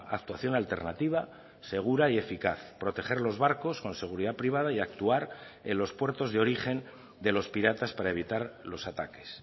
actuación alternativa segura y eficaz proteger los barcos con seguridad privada y actuar en los puertos de origen de los piratas para evitar los ataques